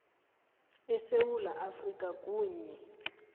esewula afrika kanye